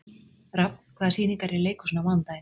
Rafn, hvaða sýningar eru í leikhúsinu á mánudaginn?